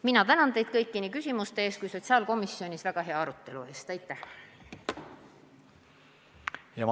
Mina tänan teid kõiki nii küsimuste eest kui ka sotsiaalkomisjonis väga hea arutelu eest!